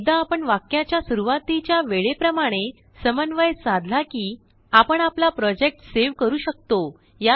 एकदा आपण वाक्याच्या सुरुवातीच्या वेळे प्रमाणेसमन्वय samanvayसाधला किआपण आपलाप्रोजेक्ट सेव करू शकतो